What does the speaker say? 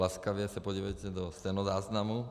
Laskavě se podívejte do stenozáznamu.